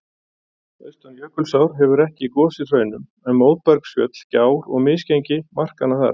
Austan Jökulsár hefur ekki gosið hraunum, en móbergsfjöll, gjár og misgengi marka hana þar.